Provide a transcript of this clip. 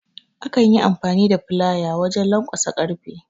Akan Yi amfani da Filaya wajen lanƙwasa karfe